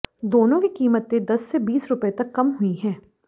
दोनों की कीमतें दस से बीस रुपए तक कम हुई है